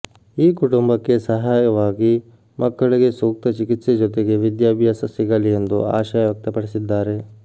ಈ ಕುಟುಂಬಕ್ಕೆ ಸಹಾಯವಾಗಿ ಮಕ್ಕಳಿಗೆ ಸೂಕ್ತ ಚಿಕಿತ್ಸೆ ಜೊತೆಗೆ ವಿದ್ಯಾಭ್ಯಾಸ ಸಿಗಲಿ ಎಂದು ಆಶಯ ವ್ಯಕ್ತಪಡಿಸಿದ್ದಾರೆ